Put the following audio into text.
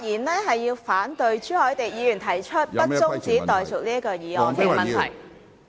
主席，我發言反對朱凱廸議員提出不中止待續的議案......